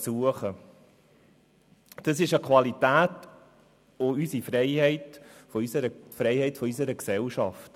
Das ist eine Qualität, es ist die Freiheit unserer Gesellschaft.